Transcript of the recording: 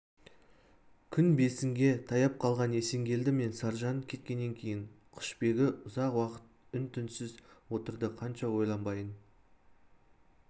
күн бесінге таяп қалған есенгелді мен саржан кеткеннен кейін құшбегі ұзақ уақыт үн-түнсіз отырды қанша ойланбайын